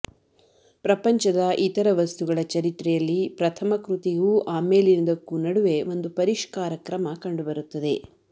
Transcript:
ಪ್ರಪಂಚದ ಇತರ ವಸ್ತುಗಳ ಚರಿತ್ರೆಯಲ್ಲಿ ಪ್ರಥಮಕೃತಿಗೂ ಆಮೇಲಿನದಕ್ಕೂ ನಡುವೆ ಒಂದು ಪರಿಷ್ಕಾರಕ್ರಮ ಕಂಡುಬರುತ್ತದೆ